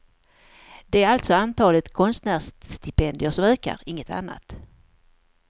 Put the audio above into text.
Det är alltså antalet konstnärsstipendier som ökar, inget annat.